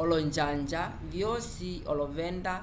olonjanja vyosi olovenda